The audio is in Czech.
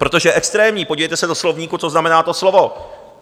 Protože extrémní, podívejte se do slovníku, co znamená to slovo.